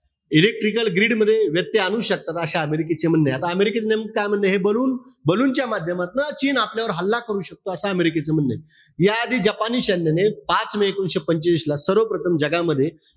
Electrical grid मध्ये, ते आणू शकतात. असे अमेरिकेचे म्हणणे आहे. त अमेरिकेचं नेमकं काय म्हणणंय, ballon-ballon च्या माध्यमातन चीन आपल्यावर हल्ला करू शकतो, असं अमेरिकेचं म्हणणंय. याआधी जपानी सैन्याने पाच मे एकोणीशे पंचवीस ला, सर्वप्रथम जगामध्ये